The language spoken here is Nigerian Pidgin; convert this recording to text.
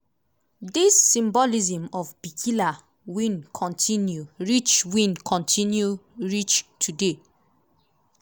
di symbolism of bikila win kontinu reach win kontinu reach today.